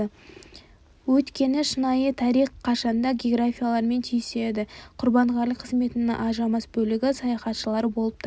өйткені шынайы тарих қашанда географиямен түйіседі құрбанғали қызметінің ажырамас бөлігі саяхаттары болып табылады